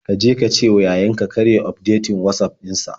Ka je ka cewa yayan ka kar ya yi ufdetin Watsaf ɗin sa.